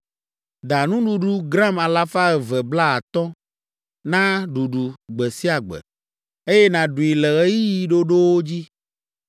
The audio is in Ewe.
Da nuɖuɖu gram alafa eve blaatɔ̃ (250) na ɖuɖu gbe sia gbe, eye nàɖui le ɣeyiɣi ɖoɖowo dzi.